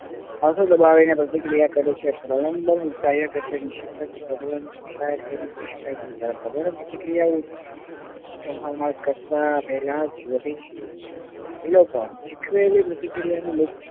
દબાવીને પ્રતિક્રિયા કરે છે કાર્ય કરતા નિસ્યન્દક કક્ષાએ મૂકી શકાય જયારે પ્રબલન પ્રતિક્રિયાઓ પહેલા જ વધે છે. એ લોકો પણ સીખવેલી પ્રતિક્રિયાને